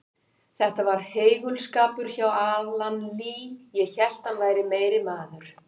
Þetta var heigulskapur hjá Alan Lee, ég hélt hann væri meiri maður.